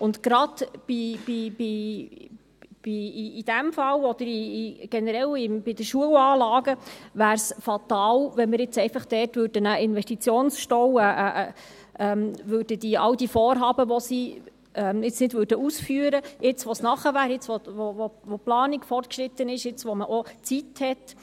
Es wäre gerade in diesem Fall und generell bei Schulanlagen fatal, wenn wir dort einen Investitionsstau hätten, weil wir all diese Vorhaben nicht ausführen würden, jetzt, wo die Zeit gekommen ist, jetzt, wo die Planung fortgeschritten ist und man Zeit hat.